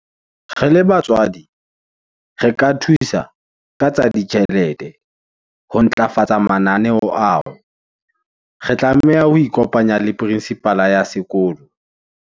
Re le batswadi re ka thusa ka tsa ditjhelete, ho ntlafatsa mananeo ao. re tlameha ho ikopanya le principal-a ya sekolo.